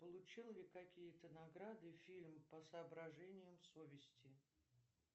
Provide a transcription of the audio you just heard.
получил ли какие то награды фильм по соображениям совести